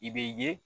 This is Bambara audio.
I bɛ ye